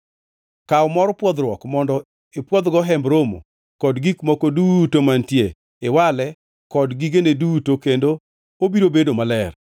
Kaw mor pwodhruok mondo ipwodhgo Hemb Romo kod gik moko duto mantie; iwale kod gigene duto kendo obiro bedo maler.